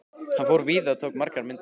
Hann fór víða og tók margar myndir.